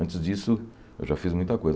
Antes disso, eu já fiz muita coisa.